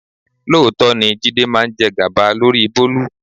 Lóòótọ́ ni Jídé máa ń jẹ gàba lórí Bólú.